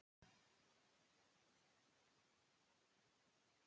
Því mannorðið lifir þótt maðurinn deyi.